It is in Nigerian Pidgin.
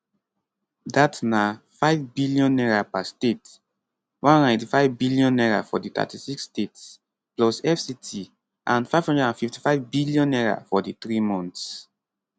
dat na n5 billion per state n185 billion for di 36 states plus fct and n555 billion for di three months